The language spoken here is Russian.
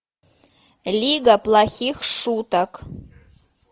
лига плохих шуток